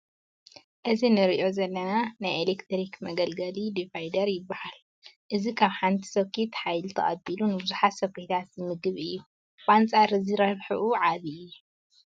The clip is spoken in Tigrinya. እዚ ንሪኦ ዘለና ናይ ኤለክትሪክ መገልገሊ ዲቫይደር ይበናል፡፡ እዚ ካብ ሓንቲ ሶኬት ሓይሊ ተቐቢሉ ንብዙሓት ሶኬታት ዝምግብ እዩ፡፡ ብኣንፃር እዚ ረብሕኡ ዓብዪ እዩ፡፡